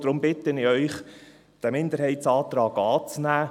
Deshalb bitte ich Sie, diesen Minderheitsantrag anzunehmen.